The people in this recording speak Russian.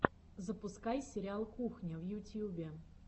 запускай сериал кухня в ютьюбе